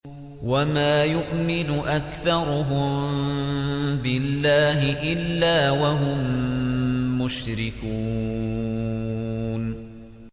وَمَا يُؤْمِنُ أَكْثَرُهُم بِاللَّهِ إِلَّا وَهُم مُّشْرِكُونَ